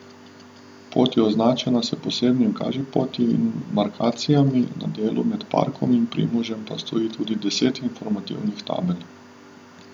Pot je označena s posebnimi kažipoti in markacijami, na delu med parkom in Primožem pa stoji tudi deset informativnih tabel.